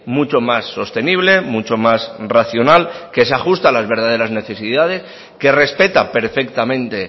mucho más sostenible mucho más racional que se ajuste a las verdaderas necesidades que respeta perfectamente